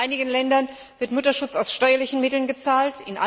In einigen Ländern wird Mutterschutz aus steuerlichen Mitteln gezahlt.